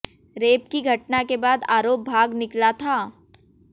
rape की घटना के बाद आरोप भाग निकला था